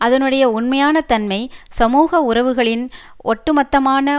அதனுடைய உண்மையான தன்மை சமூக உறவுகளின் ஒட்டு மொத்தமான